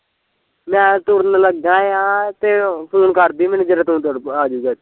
ਮੈਂ ਤੁਰਨ ਲਗਾ ਆ ਤੇ ਫੁਨ ਕਰਦੀ ਮੈਨੂੰ ਜਦੋਂ ਤੂੰ ਤੁਰਨ ਆਜੁਗਾ ਤੇ